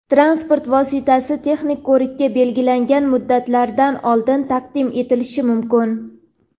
transport vositasi texnik ko‘rikka belgilangan muddatlardan oldin taqdim etilishi mumkin.